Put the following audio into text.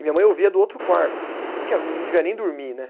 E minha mãe ouvia do outro quarto, se bem que ela não devia nem dormir, né?